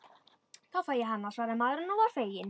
Þá fæ ég hana, svaraði maðurinn og var feginn.